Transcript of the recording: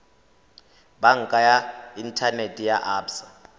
banka ya inthanete ya absa